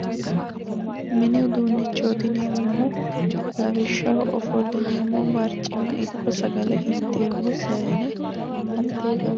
mini uduunnichooti yineemmohu lawishshaho ofollineemmo barcima ikko sagale wodhi'neemmo saayne